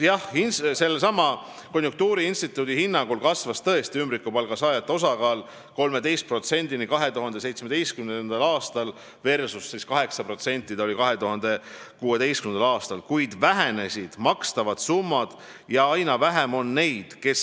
Jah, konjunktuuriinstituudi hinnangul kasvas tõesti ümbrikupalga saajate osakaal 2017. aastal 13%-ni , kuid vähenesid makstavad summad.